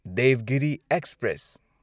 Devagiri express